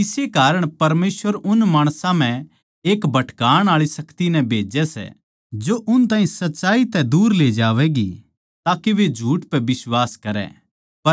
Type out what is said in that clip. इस्से कारण परमेसवर उन माणसां म्ह एक भटकाण आळी शक्ति नै भेज्जै सै जो उन ताहीं सच्चाई तै दूर ले जावैगी ताके वे झूठ पै बिश्वास करै